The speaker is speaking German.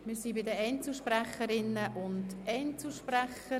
Wir kommen zu den Einzelsprecherinnen und Einzelsprecher.